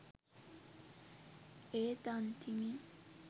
ඒත් අන්තිමේ